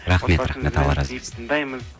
рахмет рахмет алла разы болсын тыңдаймыз